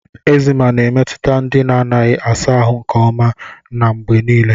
Eczema na-emetụta ndị na-adịghị asa ahụ nke ọma na mgbe niile.